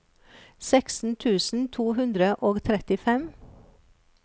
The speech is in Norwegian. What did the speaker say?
seksten tusen to hundre og trettifem